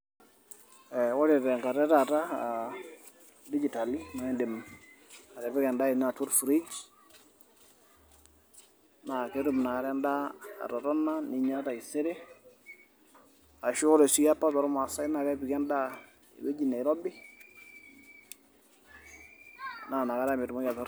Ee ore teng'ata etaata aa dijital naa eedim atipika endaa ino atua orfirij, naa ketum Ina Kata endaa atotona ninya taisere, ashu ore sii apa toolmasae naa nepiki endaa ewueji neirobi naa Inakata metumoki aitor..